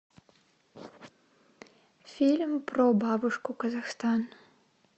фильм про бабушку казахстан